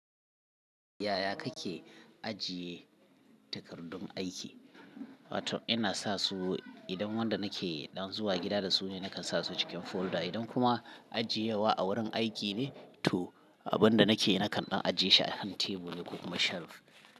Yaya kake ajiye takardun aiki? Ina sa su idan wanda nake ɗan zuwa gida da su ne, nakan sa su cikin folder. Idan kuma ajiye wa a wurin aiki ne to abun da nake nakan ɗan ajiye shi a kan tebur ne ko kuma shelf.